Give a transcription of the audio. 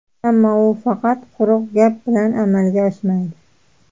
Ammo u faqat quruq gap bilan amalga oshmaydi.